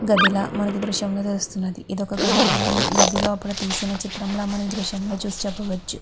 గదిలా మనకి ఈ దృశ్యం లో తెలుస్తునంది. ఇది ఒక గది లోపల తీసిన చిత్రం లా మనం ఈ దృశ్యం చూసి చెప్పవచ్చు.